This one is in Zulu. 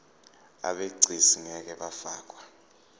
abegcis ngeke bafakwa